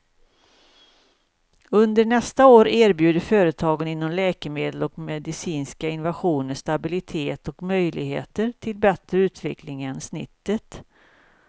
Under nästa år erbjuder företagen inom läkemedel och medicinska innovationer stabilitet och möjligheter till bättre utveckling än snittet.